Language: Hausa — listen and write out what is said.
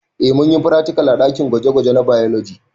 Eh munyi fratikal a ɗakin gwaje gwaje na bailoji